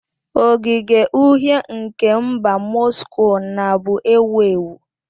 Ogige Uhie nke mba Moscow na bu ewu ewu.